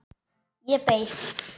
Ég beið.